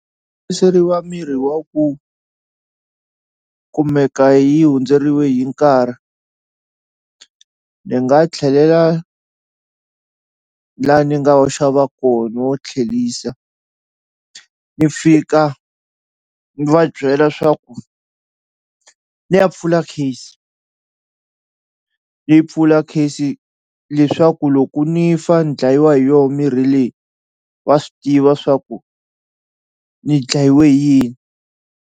miri wa ku kumeka yi hundzeliwe hi nkarhi ni nga tlhelela la ni nga wu xava kona ni wu tlhelisa ni fika ni va byela swaku ni ya pfula case ni pfula case leswaku loko ni fa ni dlayiwa hi yo mirhi leyi va swi tiva swaku ni dlayiwe hi yini.